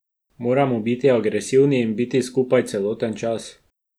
Moramo biti agresivni in biti skupaj celoten čas.